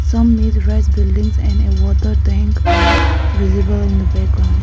some is red buildings and a water tank are visible in the background.